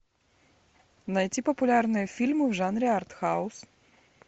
найти популярные фильмы в жанре арт хаус